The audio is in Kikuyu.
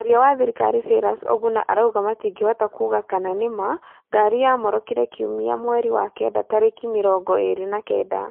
Mwaria wa thirikari Cyrus Oguna arauga matingĩhota kuuga kana nĩ ma ngari yamorokire Kiumia mweri wa Kenda tarĩki mĩrongo ĩĩri na kenda